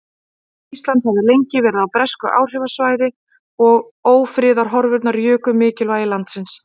Ísland hafði lengi verið á bresku áhrifasvæði og ófriðarhorfurnar juku mikilvægi landsins.